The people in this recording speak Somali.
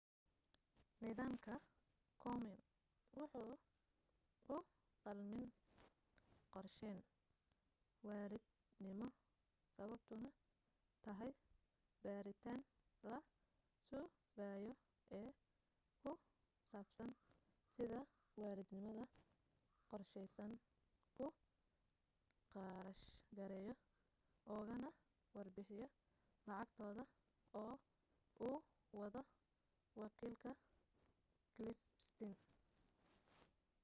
nidaamka komen wuxuu uqalmin qorsheyn waalidnimo sababtuna tahay baaritaan la sugayo ee ku saabsan sida waalidnimada qorsheysan ku kharash gareeyo ugana warbixiyo lacagtooda oo uu wado wakiilka cliff stearns